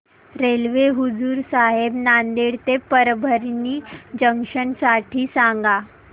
railway Hazur Sahib Nanded ते Parbhani junction साठी सांगा